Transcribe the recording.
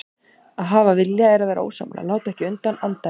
Að hafa vilja er að vera ósammála, láta ekki undan, andæfa.